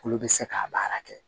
Olu bɛ se k'a baara kɛ